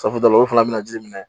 Safinɛ o fana bɛna ji minɛ